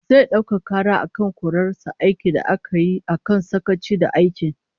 Zai daukaka kara akan korar sa aiki da aka yi akan sakaci da aiki